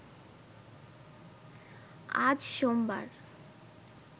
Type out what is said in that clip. আজ সোমবার